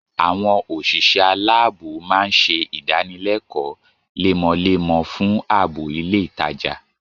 Àwọn òṣìṣẹ́ aláàbọ̀ máa ń ṣe idanilekoo lemọlemọfún ààbò ilé ìtajà